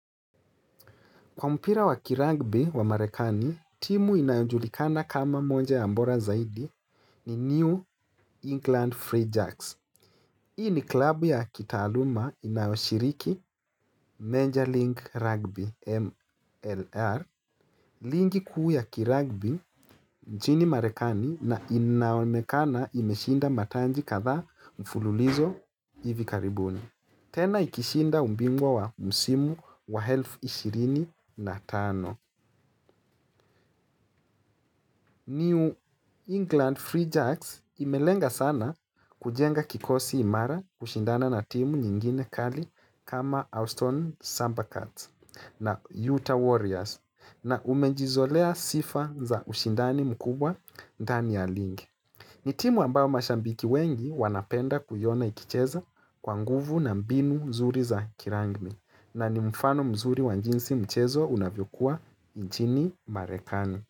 Kwa mpira wa kiragbi wa marekani, timu inajulikana kama moja ya mbora zaidi ni New England Free Jacks. Hii ni klabu ya kitaaluma inayoshiriki Major League Rugby MLR. Ligi kuu ya kiragbi nchini marekani na inaonekana imeshinda matanji kadha mfululizo ivi karibuni. Tena ikishinda ubingwa wa msimu wa elfu 25. New England Free Jacks imelenga sana kujenga kikosi imara kushindana na timu nyingine kali kama Austin Samba Cards na Utah Warriors na umejizolea sifa za ushindani mkubwa ndani ya Lingi. Nitimu ambao mashambiki wengi wanapenda kuiona ikicheza kwa nguvu na mbinu mzuri za kirangmi na ni mfano mzuri wa njinsi mchezwa unavyokua njini marekani.